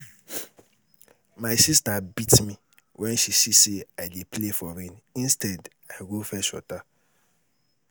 My sister beat me wen she see say I dey play for rain instead I go fetch water